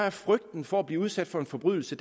at frygten for at blive udsat for en forbrydelse